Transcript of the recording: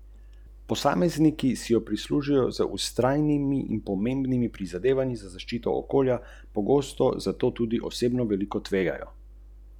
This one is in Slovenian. Kaj naj počnejo, se prijavijo na zavod za zaposlovanje in tam pričakajo pokojnino, socialno podporo?